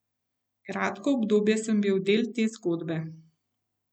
Kratko obdobje sem bil del te zgodbe.